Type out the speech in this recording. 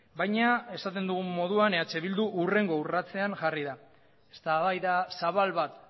baina esaten dugun moduan eh bildu hurrengo urratsean jarri da eztabaida zabal bat